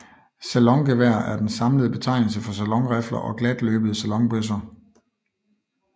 Salongevær er den samlede betegnelse for salonrifler og glatløbede salonbøsser